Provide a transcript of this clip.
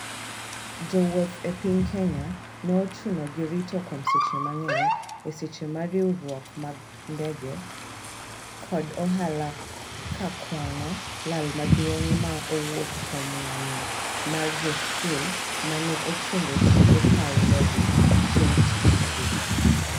Jo wouth e piny Kenya ne ochuno gi rito kuom seche mang'eny e seche ma riwruok mag ndege kod ohala ka kuano lal maduong' ma owuok kuom ng'anyo mar jo skul ma ne ochungo tije paw ndege chieng tich adek